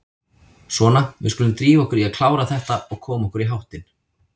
Svona, við skulum drífa okkur í að klára þetta og koma okkur í háttinn.